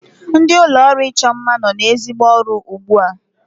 Ndị ụlọọrụ ịchọ mma nọ n'ezigbo ọrụ ugbu a